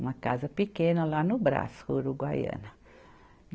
Uma casa pequena lá no Brás, uruguaiana.